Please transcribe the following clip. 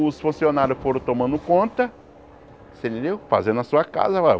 Os funcionários foram tomando conta você entendeu, fazendo a sua casa lá.